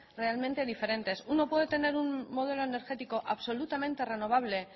realmente diferentes uno puede tener un modelo energético absolutamente renovable